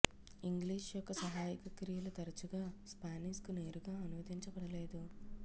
English యొక్క సహాయక క్రియలు తరచుగా స్పానిష్కు నేరుగా అనువదించబడలేదు